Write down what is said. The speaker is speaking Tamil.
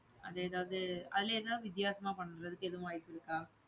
அது ஏதாவது அதுல ஏதாவது வித்தியாசமா பண்றதுக்கு எதுவும் வாய்ப்பு இருக்கா?